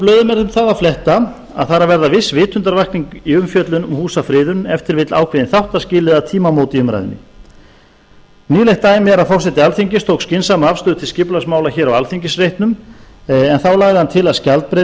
blöðum er um það að fletta að það er að verða viss vitundarvakning í umfjöllun um húsafriðun ef til vill ákveðin þáttaskil eða tímamót í umræðunni nýlegt dæmi er að forseti alþingis tók skynsama afstöðu til skipulagsmála hér á alþingisreitnum en þá lagði hann til að skjaldbreið við